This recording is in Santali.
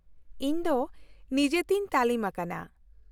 ᱼᱤᱧ ᱫᱚ ᱱᱤᱡᱮᱛᱮᱧ ᱛᱟᱹᱞᱤᱢ ᱟᱠᱟᱱᱟ᱾